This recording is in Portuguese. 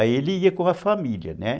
Aí ele ia com a família, né?